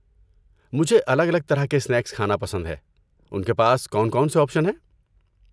مجھے الگ الگ طرح کے اسنیکس کھانا پسند ہے، ان کے پاس کون کون سے آپشن ہیں؟